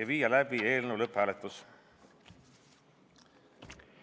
ja viia läbi eelnõu lõpphääletus.